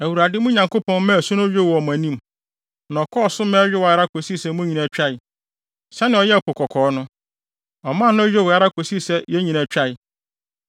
Awurade, mo Nyankopɔn, maa asu no yowee wɔ mo anim, na ɔkɔɔ so ma ɛyowee ara kosii sɛ mo nyinaa twae, sɛnea ɔyɛɛ Po Kɔkɔɔ no. Ɔmaa no yowee ara kosii sɛ yɛn nyinaa twae.